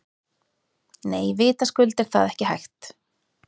Nei, vitaskuld er það ekki hægt.